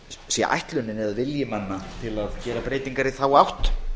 sé ætlunin eða vilji manna að gera breytingar í þá átt